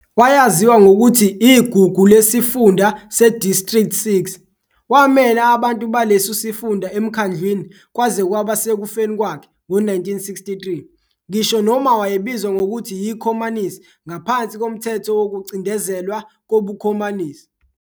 Wayaziwa ngokuthi "Igugu Lesifunda se-District Six" wamela abantu baleso sifunda emkhandlwini kwaze kwaba sekufeni kwakhe ngo-1963, ngisho noma wayebizwa ngokuthi yiKhomanisi ngaphansi koMthetho Wokucindezelwa KobuKhomanisi.